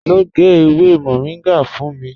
Lọ gẹ̀ ewé Moringa fún mí.